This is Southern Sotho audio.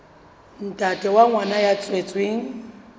ntate wa ngwana ya tswetsweng